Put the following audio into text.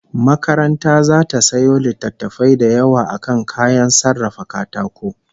Makaranta zata sayo littattafai da yawa akan kayan sarrafa katako